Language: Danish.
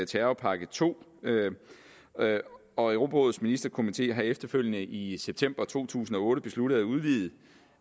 terrorpakke to og europarådets ministerkomité har efterfølgende i september to tusind og otte besluttet at udvide